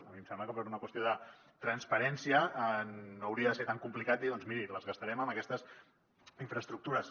a mi em sembla que per una qüestió de transparència no hauria de ser tan complicat dir doncs miri ens els gastarem en aquestes infraestructures